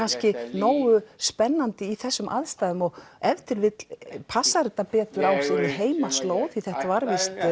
nógu spennandi í þessum aðstæðum og ef til vill passar þetta betur á sinni heimaslóð því þetta var víst